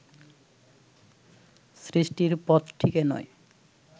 সৃষ্টির পথটিকে নয়